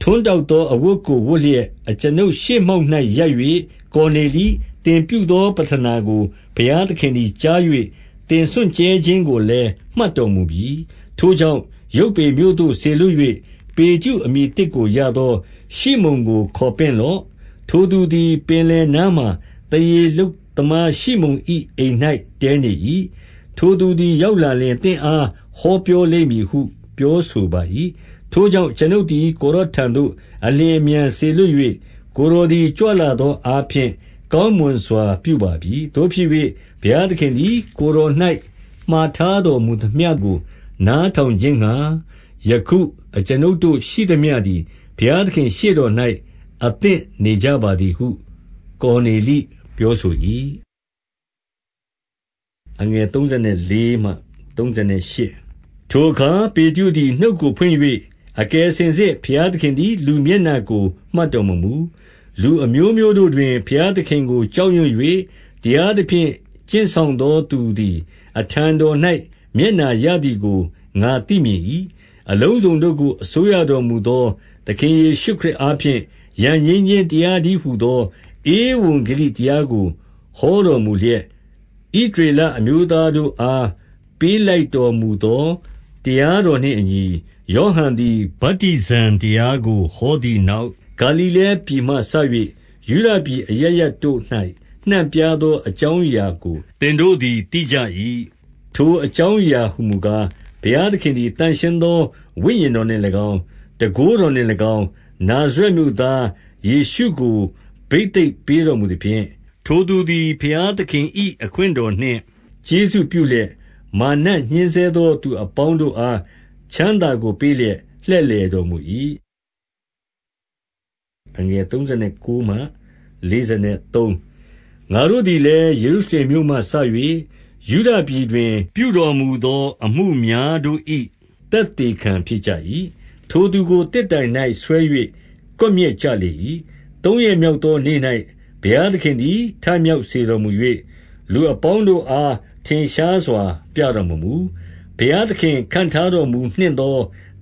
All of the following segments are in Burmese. ထွန်းတောက်သောအဝတ်ကို ဝတ်လျက် အကျွန်ုပ် ရှေ့မှောက်၌ရပ်၍၊ ကော်နေလိ၊ သင်ပြုသောပဌနာကို ဘုရားသခင်သည် ကြား၍၊ သင်စွန့်ကြဲခြင်းကိုလည်း မှတ်တော်မူပြီ။ ထိုကြောင့်ယုပွေမြို့သို့စေလွှတ်၍ ပေတရု အမည်သစ်ကို ရသော ရှိမုန်ကို ခေါ်ပင့်လော့။ ထိုသူသည် ပင်လယ်နားမှာ သားရေလုပ် သမားရှိမုန်၏ အိမ်၌တည်း နေ၏။ ထိုသူသည်ရောက်လာလျှင် သင့်အား ဟောပြော လိမ့်မည်ဟုပြောဆိုပါ၏။ ထိုကြောင့် အကျွန်ုပ်သည် ကိုယ်တော်ထံသို့ အလျင်အမြန် စေလွှတ်၍၊ ကိုယ်တော်သည် ကြွလာသော အားဖြင့် ကောင်းမွန်စွာပြုပါ ပြီ။ သို့ဖြစ်၍ ဘုရားသခင် သည် ကိုယ်တော်၌မှာထားတော်မူသမျှကို နားထောင် ခြင်းငှါ၊ ယခုအကျွန်ုပ်တို့ရှိသမျှသည် ဘုရားသခင် ရှေ့တော်၌ အသင့်နေကြပါသည်ဟု ကော်နေလိ ပြောဆို၏။ ထိုအခါပေတရုသည် နှုတ်ကိုဖွင့်၍၊ အကယ် စင်စစ် ဘုရား သခင်သည် လူမျက်နှာကို မှတ်တော်မမူ။ လူအမျိုးမျိုးတို့တွင် ဘုရားသခင်ကို ကြောက်ရွံ့ ၍ တရားသဖြင့် ကျင့်ဆောင်သောသူသည် အထံတော်၌ မျက်နှာရသည်ကို ငါသိမြင်၏။ အလုံးစုံတို့ကို အစိုးရတော်မူသော သခင်ယေရှု ခရစ်အားဖြင့် ရန်ငြိမ်းခြင်းတရားတည်းဟူသော ဧဝံ ဂေလိတရားကို ဟောတော်မူလျက်၊ ဣသရေလ အမျိုး သား တို့အား ပေးလိုက်တော်မူသော တရားတော်နှင့် အညီ၊ ယောဟန်သည် ဗတ္တိဇံတရားကို ဟောသည် နောက် ဂါလိလဲ ပြည်မှစ၍ ယုဒပြည်အရပ်ရပ်တို့၌ နှံ့ပြားသော အကြောင်းအရာကို သင်တို့သည် သိကြ၏။ ထိုအကြောင်းအရာဟူမူကား၊ ဘုရားသခင်သည် သန့်ရှင်းသော ဝိညာဉ်တော်နှင့်၎င်း၊ တန်ခိုးတော်နှင့်၎င်း၊ နာဇရက်မြို့သား ယေရှုကို ဘိသိက်ပေးတော်မူသဖြင့်၊ ထိုသူသည် ဘုရားသခင်၏ အခွင့်တော်နှင့် ကျေးဇူးပြုလျက်၊ မာရ်နတ်ညှဉ်းဆဲသော သူအပေါင်းတို့အား ချမ်းသာကို ပေးလျက် လှည့်လည်တော်မူ၏။ ငါတို့သည်လည်း၊ ယေရုရှလင်မြို့မှစ၍ ယုဒ ပြည်တွင်ပြုတော် မူသောအမှုများတို့၏ သက်သေခံ ဖြစ်ကြ၏။ ထိုသူကိုသစ်တိုင်၌ ဆွဲ၍ ကွပ်မျက်ကြလေ၏။ သုံးရက်မြောက်သောနေ့၌ ဘုရားသခင်သည် ထမြောက် စေတော်မူ၍၊ လူအပေါင်းတို့အား ထင်ရှားစွာပြတော်မမူ၊ ဘုရားသခင်ခန့် ထားတော်မူနှင့်သော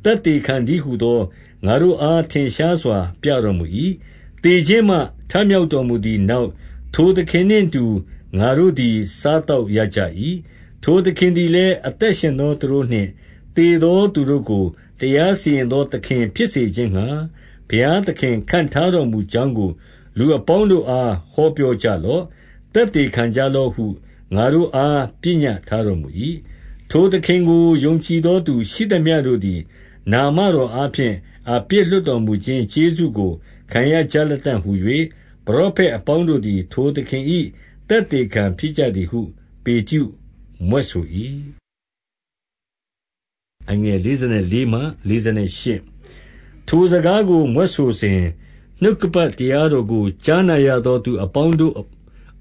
သက်သေခံတည်း ဟူသော ငါတို့အား ထင်ရှားစွာ ပြတော်မူ၏။ သေခြင်းမှ ထမြောက်တော်မူသည်နောက်၊ ထိုသခင်နှင့် အတူ ငါတို့သည်စားသောက်ရကြ၏။ ထိုသခင်သည်လည်း အသက်ရှင်သောသူတို့နှင့် သေသော သူတို့ကို တရားစီရင်သောသခင်ဖြစ်စေခြင်းငှါ၊ ဘုရားသခင်ခန့်ထားတော် မူကြောင်းကို လူအပေါင်းတို့အား ဟောပြောကြလော့။ သက်သေခံကြ လော့ဟု ငါတို့အားပညတ်ထားတော်မူ၏။ ထိုသခင်ကို ယုံကြည်သောသူရှိသမျှတို့သည် နာမတော် အားဖြင့် အပြစ်လွှတ်တော်မူခြင်း ကျေးဇူးကို ခံရကြလတံ့ဟူ၍ မရောဖက် အပေါင်းတို့သည် ထိုသခင် ၏ သက်သေခံဖြစ်ကြသည်ဟု ပေတရုမြွက် ဆို၏။ ထိုစကားကို မြွက်ဆိုစဉ်၊ နှုတ်ကပတ်တရား တော်ကို ကြားနာရသော သူအပေါင်းတို့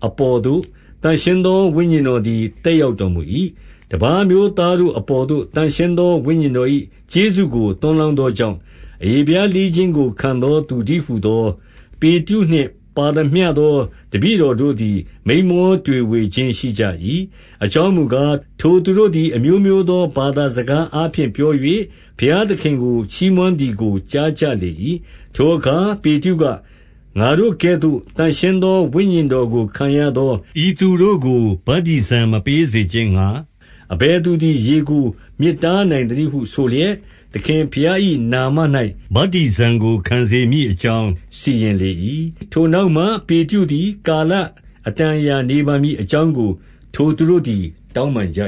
အပေါ်သို့ သန့်ရှင်းသောဝိညာဉ်တော်သည် သက်ရောက်တော်မူ၏။ တပါးအမျိုးသားတို့ အပေါ်သို့သန့်ရှင်းသော ဝိညာဉ်တော်၏ ကျေးဇူးကိုသွန်းလောင်းသောကြောင့်၊ အရေဖျားလှီးခြင်းကို ခံသောသူ တည်းဟူသော ပေတရု နှင့် ပါသမျှသော တပည့်တော်တို့သည် မိန်းမော တွေဝေခြင်းရှိကြ၏။ အကြောင်းမူကား၊ ထိုသူတို့သည် အမျိုးမျိုးသော ဘာသာစကား အားဖြင့်ပြော၍၊ ဘုရားသခင်ကို ချီးမွမ်း သည်ကိုကြားကြလေ၏။ ထိုအခါကေတရုက၊ ငါတို့ကဲ့သို့ သန့်ရှင်းသော ဝိညာဉ်တော် ကိုခံရသော ဤသူတို့ကို ဗတ္တိဇံ မပေးစေ ခြင်းငှါ အဘယ်သူသည် ရေကို မြစ်တားနိုင်သနည်း ဟုဆိုလျက်၊ သခင်ဘုရား၏နာမ၌ ဗတ္တိဇံကို ခံစေမည် အကြောင်းစီရင် လေ၏။ ထိုနောက်မှပေတရုသည် ကာလအတန်အရာနေပါမည် အကြောင်းကို ထိုသူတို့ သည် တောင်းပန်ကြ